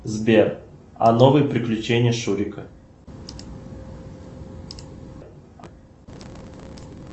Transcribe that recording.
сбер а новые приключения шурика